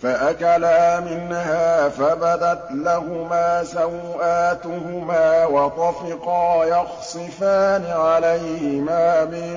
فَأَكَلَا مِنْهَا فَبَدَتْ لَهُمَا سَوْآتُهُمَا وَطَفِقَا يَخْصِفَانِ عَلَيْهِمَا مِن